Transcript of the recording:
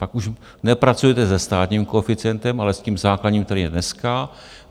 Pak už nepracujete se státním koeficientem, ale s tím základním, který je dneska.